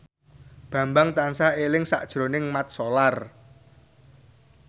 Bambang tansah eling sakjroning Mat Solar